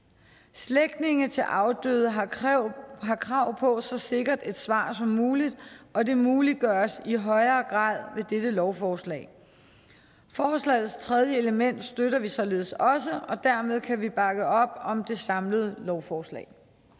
slægtninge til afdøde har krav krav på så sikkert et svar som muligt og det muliggøres i højere grad med dette lovforslag forslagets tredje element støtter vi således også og dermed kan vi bakke op om det samlede lovforslag